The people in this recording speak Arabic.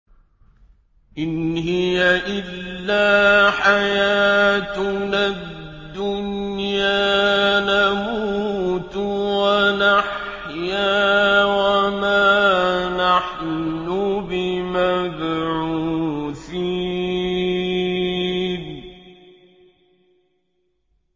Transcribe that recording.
إِنْ هِيَ إِلَّا حَيَاتُنَا الدُّنْيَا نَمُوتُ وَنَحْيَا وَمَا نَحْنُ بِمَبْعُوثِينَ